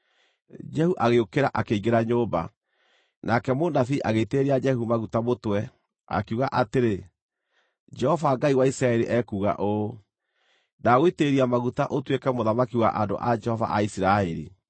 Jehu agĩũkĩra, akĩingĩra nyũmba. Nake mũnabii agĩitĩrĩria Jehu maguta mũtwe, akiuga atĩrĩ, “Jehova Ngai wa Isiraeli ekuuga ũũ: ‘Ndagũitĩrĩria maguta ũtuĩke mũthamaki wa andũ a Jehova a Isiraeli.